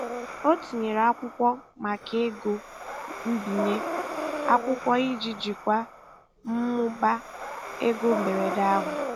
Ọ tinyere akwụkwọ maka ego mbinye akwụkwọ iji jikwaa mmụba ego mberede ahụ.